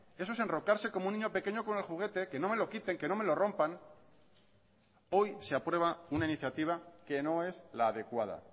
eso es enrocarse como un niño pequeño con el juguete que no me lo quiten que no me lo rompan hoy se aprueba una iniciativa que no es la adecuada